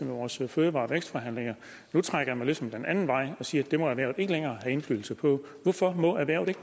vores fødevare og vækstforhandlinger nu trækker man ligesom den anden vej og siger at det må erhvervet ikke længere have indflydelse på hvorfor må erhvervet ikke